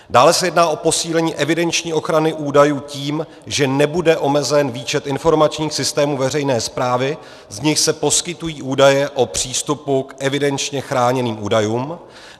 Dále se jedná o posílení evidenční ochrany údajů tím, že nebude omezen výčet informačních systémů veřejné správy, z nichž se poskytují údaje o přístupu k evidenčně chráněným údajům.